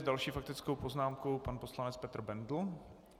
S další faktickou poznámkou pan poslanec Petr Bendl.